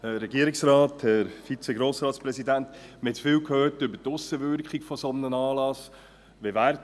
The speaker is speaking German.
Wir haben jetzt viel über die Aussenwirkung eines solchen Anlasses gehört: